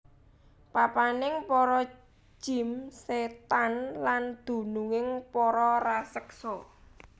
Papaning para jim sétan lan dununging para raseksa